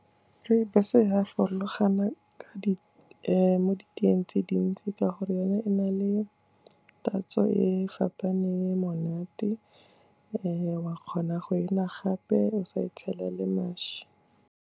Rooibos-o e a farologana ka mo diteyeng tse dintsi ka gore yone e na le tatso e fapaneng e monate, wa kgona go e nwa gape o sa e tshelele mašwi.